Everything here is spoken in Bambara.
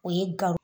O ye gawo